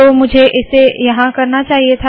तो मुझे इसे यहाँ करना चाहिए था